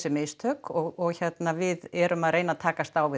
mistök og við erum að reyna að takast á við